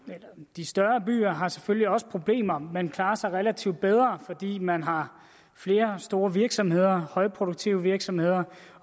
de større byer har selvfølgelig også problemer men klarer sig relativt bedre fordi man har flere store virksomheder højproduktive virksomheder